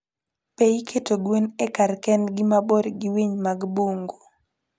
Be iketo gwen e kar kendgi mabor gi winy mag bungu?